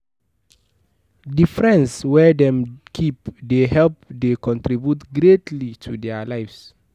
The friends wey dem keep de help de contribute greatly to their lives